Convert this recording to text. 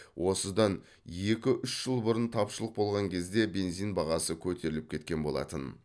осыдан екі үш жыл бұрын тапшылық болған кезде бензин бағасы көтеріліп кеткен болатын